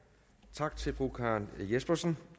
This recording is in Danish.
tak til fru karen jespersen